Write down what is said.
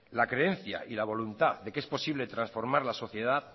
la creencia y la voluntad de que es posible transformar la sociedad